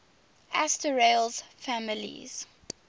asterales families